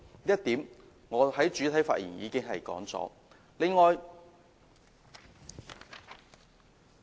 這點我在主體發言時已經提及。